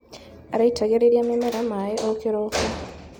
Araitagĩrĩria mĩmera maĩ o kĩroko.